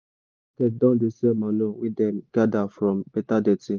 local market don dey sell manure wey dem gather from beta dirty.